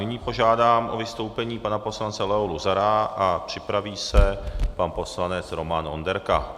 Nyní požádám o vystoupení pana poslance Leo Luzara a připraví se pan poslanec Roman Onderka.